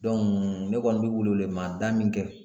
ne kɔni bɛ welewelemada min kɛ